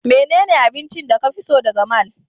Menene abincin da ka fi so daga mall?